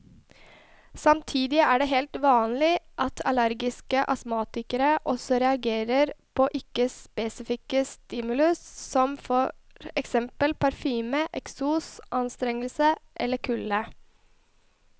Samtidig er det helt vanlig at allergiske astmatikere også reagerer på ikke spesifikke stimuli som for eksempel parfyme, eksos, anstrengelse eller kulde.